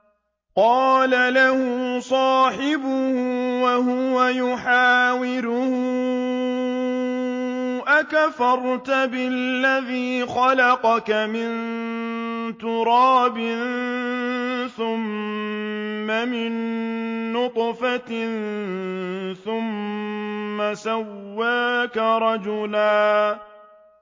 قَالَ لَهُ صَاحِبُهُ وَهُوَ يُحَاوِرُهُ أَكَفَرْتَ بِالَّذِي خَلَقَكَ مِن تُرَابٍ ثُمَّ مِن نُّطْفَةٍ ثُمَّ سَوَّاكَ رَجُلًا